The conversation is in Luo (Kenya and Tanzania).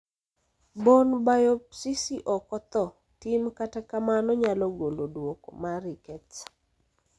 Bone biopsisi ok othor tim kata kamano nyalo golo duoko mar rickets.